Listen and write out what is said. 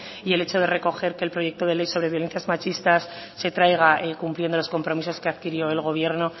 y el hecho de recoger que le proyecto de ley sobre violencias machistas se traiga cumpliendo los compromisos que adquirió el gobierno